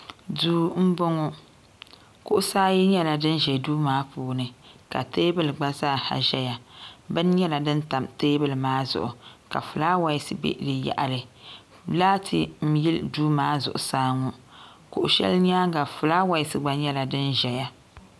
duu n bɔŋɔ kuɣusi ayi nyɛla din ʒɛ duu maa puuni ka teebuli gba zaaha ʒɛya bin nyɛla din tam teebuli maa zuɣu ka fulaawɛs bɛ di yaɣali laati n yili duu maa zuɣusaa ŋɔ kuɣu shɛli nyaanga fulaawɛs gba nyɛ din ʒɛya